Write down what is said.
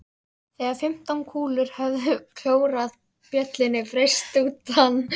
Þegar fimmtán kúlur höfðu klórað bjöllunni braust út ann